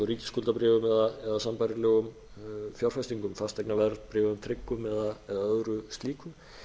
eins og ríkisskuldabréfum eða sambærilegum fjárfestingum fasteignaverðbréfum tryggum eða öðru slíku